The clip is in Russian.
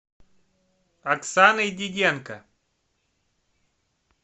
оксаной диденко